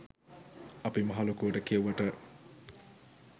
අපි මහලොකුවට කියෙව්වට